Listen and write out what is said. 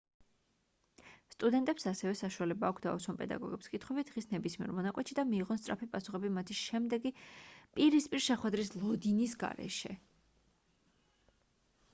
სტუდენტებს ასევე საშუალება აქვთ დაუსვან პედაგოგებს კითხვები დღის ნებისმიერ მონაკვეთში და მიიღონ სწრაფი პასუხები მათი შემდეგი პირისპირ შეხვედრის ლოდინის გარეშე